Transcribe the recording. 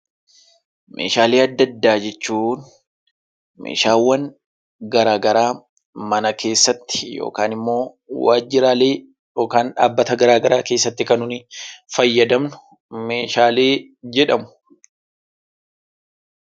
Meeshaalee adda addaa jechuun Meeshaawwan garaagaraa mana keessatti yookaan immoo waajjiraalee yookaan dhaabbata garaagaraa keessatti kan nu fayyadamnu meeshaalee jedhamu.